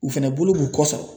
U fɛnɛ bolo b'u kɔsɔn